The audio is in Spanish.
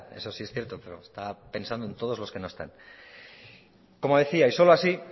eso sí es cierto pero estaba pensando en todos los que no están como decía y solo así